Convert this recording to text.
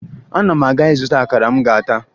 Ana m aga ịzụta akara m ga-ata